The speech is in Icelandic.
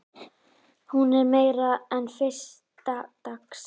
Hún er meira en fyrsta dags.